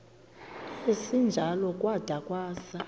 esinjalo kwada kwasa